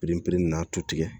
Piri pere n'a tu tigɛ